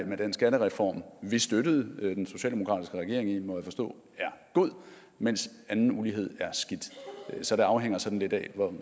med den skattereform vi støttede socialdemokratiske regering i må jeg forstå er god mens anden ulighed er skidt så det afhænger sådan lidt af